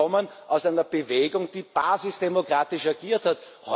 Sie kommen aus einer Bewegung, die basisdemokratisch agiert hat.